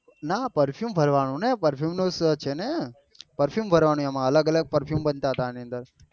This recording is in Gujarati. નાં perfume ભરવાનું ને perfume નું છે ને perfume ભરવા નું એમાં અલગ અલગ perfume બનતા હતા એની અંદર